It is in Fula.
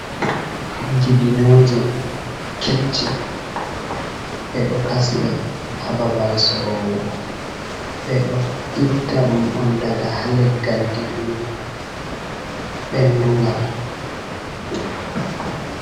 Dibinooje kech-che, ɓe ɗo kasi ɗe ha babal soroowo, ɓe ɗo itta ɗum on daga ha leggal dibino ɓendungal.